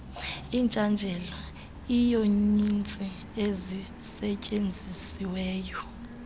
itshajele iiyunitsi ezisetyenzisiweyo